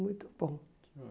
Muito bom.